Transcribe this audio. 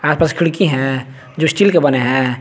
आस पास खिड़की है जो स्टील के बने है।